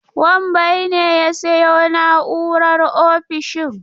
Wambai ne ya sayo na'urar ofishin.